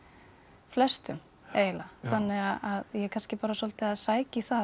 flestum eiginlega þannig að ég er kannski bara svolítið að sækja í það